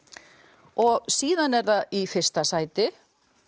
og síðan er það í fyrsta sæti